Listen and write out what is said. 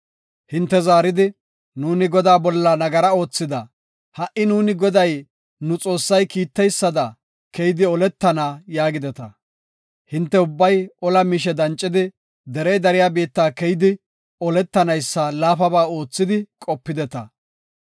Hinte zaaridi, “Nuuni Godaa bolla nagara oothida; ha77i nuuni Goday nu Xoossay kiiteysada, keyidi oletana” yaagideta. Hinte ubbay ola miishe dancidi, derey dariya biitta keyidi oletanaysa laafaba oothidi qopideta.